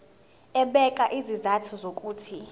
ebeka izizathu zokuthi